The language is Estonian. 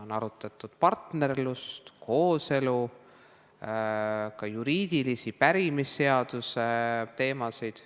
On arutatud partnerluse, kooselu ja juriidilisi pärimisseaduse teemasid.